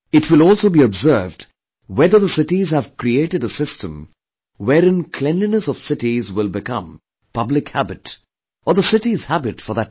It will also be observed whether the cities have created a system wherein cleanliness of cities will became public habit, or the city's habit for that matter